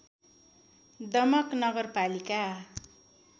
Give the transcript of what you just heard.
दमक नगरपालिका